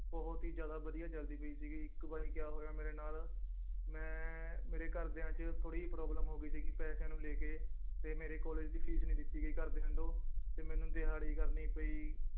ਬਹੁਤ ਹੀ ਜ਼ਿਆਦਾ ਵਧੀਆ ਚੱਲਦੀ ਪਈ ਸੀਗੀ ਇੱਕ ਵਾਰੀ ਕਿਆ ਹੋਇਆ ਮੇਰੇ ਨਾਲ ਮੈਂ ਮੇਰੇ ਘਰਦਿਆਂ ਚ ਥੋੜ੍ਹੀ ਜਿਹੀ problem ਹੋ ਗਈ ਸੀਗੀ ਪੈਸਿਆਂ ਨੂੰ ਲੈ ਕੇ ਤੇ ਮੇਰੇ ਕਾਲਜ ਦੀ ਫੀਸ ਨੀ ਦਿੱਤੀ ਗਈ ਘਰਦਿਆਂ ਤੋਂ ਤੇ ਮੈਨੂੰ ਦਿਹਾੜੀ ਕਰਨੀ ਪਈ